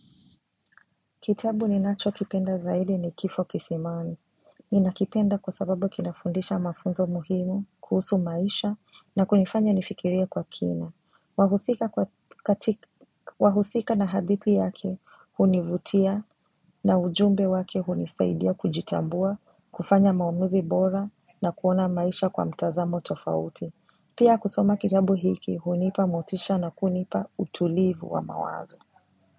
Kitabu ninachokipenda zaidi ni kifo kisimani. Ninakipenda kwa sababu kinafundisha mafunzo muhimu, kuhusu maisha na kunifanya nifikiria kwa kina. Wahusika na hadithi yake, hunivutia na ujumbe wake hunisaidia kujitambua, kufanya maamuzi bora na kuona maisha kwa mtazamo tofauti. Pia, kusoma kitabu hiki hunipa motisha na kunipa utulivu wa mawazo.